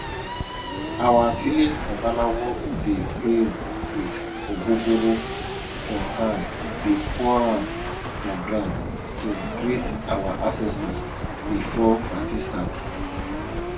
our village babalawo dey pray with ogogoro for hand dey pour am for ground to greet our ancestors before party start